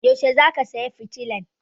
Yaushe zaka saya fitilan?